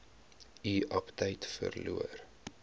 u aptyt verloor